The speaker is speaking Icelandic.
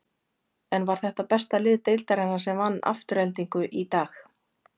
En var þetta besta lið deildarinnar sem vann Aftureldingu í dag?